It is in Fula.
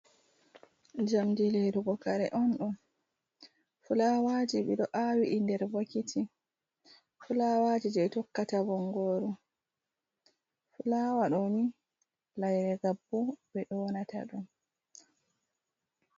Jamdi lirugo kare on ɗo, fulawaji ɗi ɗo awi ɗi nder bokiti fulawaji je tokkata bongoru, fulawa ɗoni layre gabbu ɓe yonata ɗum.